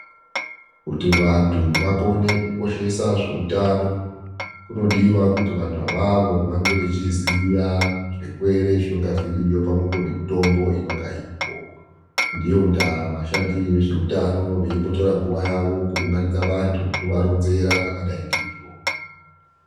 Kuti vantu vakone kukoshesa zveutano, kunodiwa kuti vanhu avavo vange vachiziya zvirwere zvinonga zviriyo pamwepo ngemitombo inonga iripo. Ndiyo ndaa vashandi vezveutano veimbotora nguva yavo kuunganidza vantu veivaronzera zvakadai ngeizvozvo.